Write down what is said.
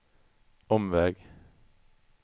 omväg